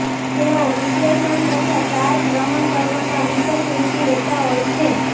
તેઓ વિશ્લેષણ તથા સાર ગ્રહણ કરવામાં વિશેષ રૂચિ લેતા હોય છે